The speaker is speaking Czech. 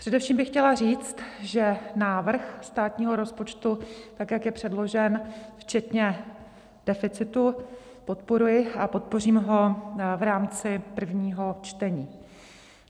Především bych chtěla říct, že návrh státního rozpočtu, tak jak je předložen, včetně deficitu, podporuji a podpořím ho v rámci prvního čtení.